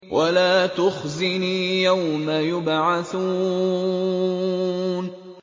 وَلَا تُخْزِنِي يَوْمَ يُبْعَثُونَ